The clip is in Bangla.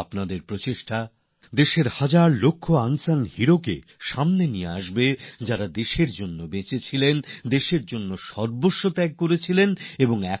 আপনার প্রচেষ্টা দেশের হাজার হাজার লাখ লাখ অকথিত বা অজানা বীরদের সামনে নিয়ে আসবে যাঁরা দেশের জন্য জীবন ধারণ করেছেন দেশের জন্য শেষ হয়ে গিয়েছেন যাঁদের নাম